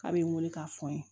K'a bɛ n wele k'a fɔ n ye